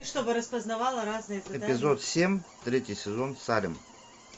эпизод семь третий сезон салем